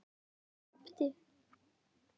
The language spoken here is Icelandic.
Hann gapti.